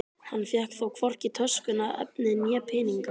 Hann fékk þó hvorki töskuna, efnið né peninga.